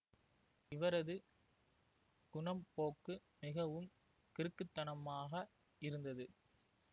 இவரது குணப்போக்கு மிகவும் கிறுக்குத்தனமாக இருந்தது